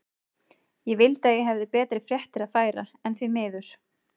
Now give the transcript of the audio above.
Ég vildi að ég hefði betri fréttir að færa, en því miður.